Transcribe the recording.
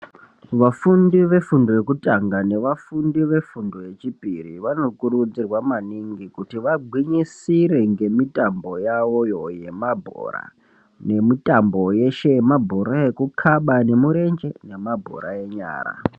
Vafundi vekubazi yekutanga nevafundi vefundo yechipiri vanokurudzirwa maningi kuti vagwinyisire ngemitambo yavoyo yemabhora nemitambo yeshe yemabhora ekukhaba nemurenje nemabhora enyara.